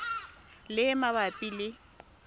le e e mabapi le